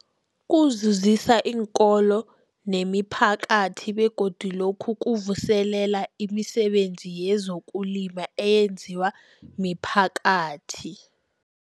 Kuzuzisa iinkolo nemiphakathi begodu lokhu kuvuselela imisebenzi yezokulima eyenziwa miphakathi.